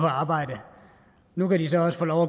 arbejde nu kan de så også få lov